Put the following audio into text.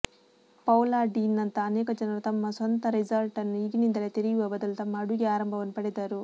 Paula Deen ನಂತಹ ಅನೇಕ ಜನರು ತಮ್ಮ ಸ್ವಂತ ರೆಸ್ಟಾರೆಂಟ್ನ್ನು ಈಗಿನಿಂದಲೇ ತೆರೆಯುವ ಬದಲು ತಮ್ಮ ಅಡುಗೆ ಆರಂಭವನ್ನು ಪಡೆದರು